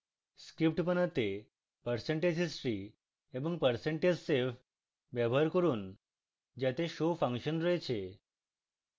script বানাতে percentage history এবং percentage save ব্যবহার করুন যাতে show ফাংশন রয়েছে